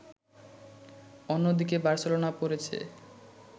অন্যদিকে বার্সেলোনা পড়েছে